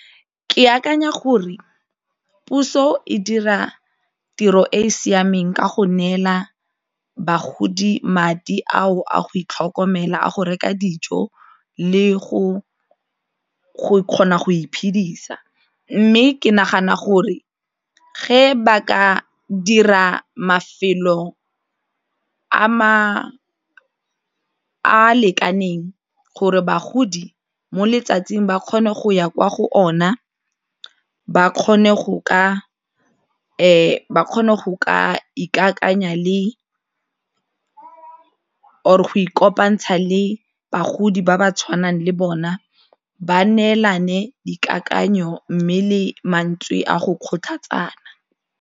Ke akanya gore puso e dira tiro e e siameng ka go neela bagodi madi ao a go itlhokomela a go reka dijo le go go kgona go iphedisa mme ke nagana gore ga ba ka dira mafelo a a lekaneng gore bagodi mo letsatsing ba kgone go ya kwa go ona ba kgone go ka ba kgone go ka ikakanyetsa le o or go ikopantsha le bagodi ba ba tshwanang le bona ba neelana ka dikakanyo mme le mantswe a go kgothatsa.